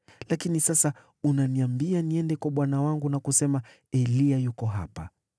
Lakini sasa unaniambia niende kwa bwana wangu na kusema, ‘Eliya yuko hapa.’